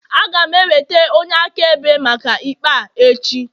Aga m eweta onye akaebe maka ikpe a echi